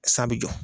San bɛ jɔ